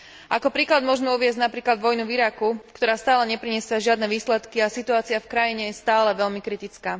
Ako príklad môžme uviesť napríklad vojnu v Iraku, ktorá stále nepriniesla žiadne výsledky, a situácia v krajine je stále veľmi kritická.